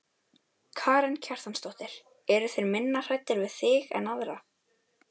Karen Kjartansdóttir: Eru þeir minna hræddir við þig en aðra?